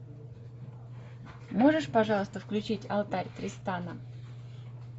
можешь пожалуйста включить алтарь тристана